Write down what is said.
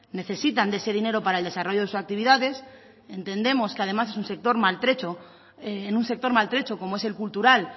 necesitan de ese dinero para el desarrollo de sus actividades entendemos que además es un sector maltrecho en un sector maltrecho como es el cultural